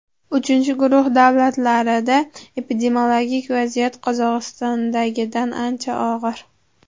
Uchinchi guruh davlatlarida epidemiologik vaziyat Qozog‘istondagidan ancha og‘ir.